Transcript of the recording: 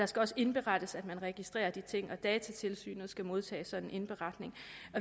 skal også indberettes at man registrerer de her ting og datatilsynet skal modtage en sådan indberetning